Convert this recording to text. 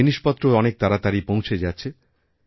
জিনিসপত্রও অনেক তাড়াতাড়িপৌঁছে যাচ্ছে